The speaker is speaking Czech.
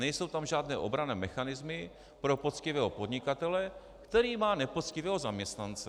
Nejsou tam žádné obranné mechanismy pro poctivého podnikatele, který má nepoctivého zaměstnance.